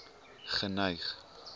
geneig